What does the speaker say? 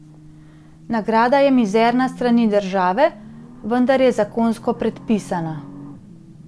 Nagrada je mizerna s strani države, vendar je zakonsko predpisana.